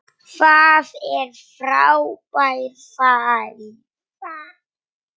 Það er frábær fæða.